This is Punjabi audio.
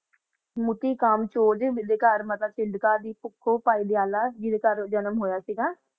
ਮੂਠੀ ਕਾਮ ਚੋਰ ਕਰ ਪੋਫੋ ਕਲ ਪੈਜਲ ਦਾ ਕਰ ਅਨਾਮ ਹੋਇਆ ਸੀ ਗਾ